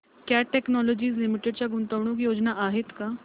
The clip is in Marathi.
कॅट टेक्नोलॉजीज लिमिटेड च्या गुंतवणूक योजना आहेत का